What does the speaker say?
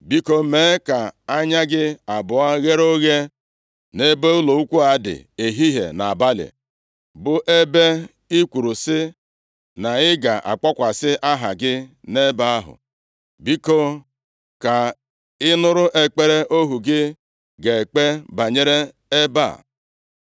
Biko, mee ka anya gị abụọ ghere oghe nʼebe ụlọnsọ ukwu a dị, ehihie na nʼabalị, bụ ebe a i kwuru sị, na i ga-akpọkwasị Aha gị nʼebe ahụ. Biko, ka ị nụrụ ekpere ohu gị ga-ekpe banyere ebe a.